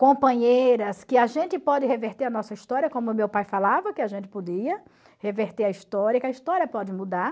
companheiras, que a gente pode reverter a nossa história, como meu pai falava, que a gente podia reverter a história, que a história pode mudar.